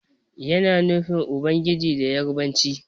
Yana nufin Ubangiji da Yarabanci.